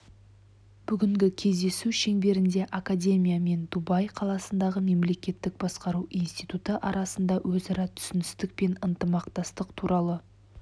бүгінгі кездесу шеңберінде академия мен дубай қаласындағы мемлекеттік басқару институты арасында өзара түсіністік пен ынтымақтастық туралы